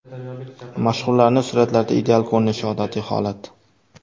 Mashhurlarning suratlarda ideal ko‘rinishi odatiy holat.